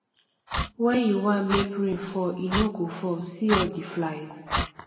when you wan make rain fall e no go fall see all the flies